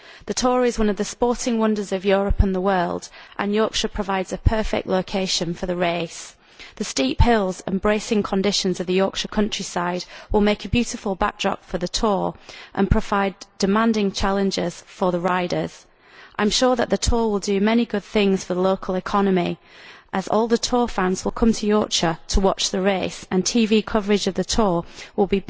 The tour is one of the sporting wonders of Europe and the world, and Yorkshire provides a perfect location for the race. The steep hills and bracing conditions of the Yorkshire countryside will make a beautiful backdrop for the tour and provide demanding challenges for the riders. I am sure that the tour will do many good things for the local economy, as all the tour fans will come to Yorkshire to watch the race, and TV coverage of the tour will